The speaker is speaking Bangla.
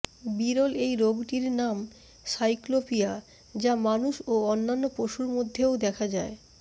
বিরল এই রোগটির নাম সাইক্লোপিয়া যা মানুষ ও অন্যান্য পশুর মধ্যেও দেখা যায়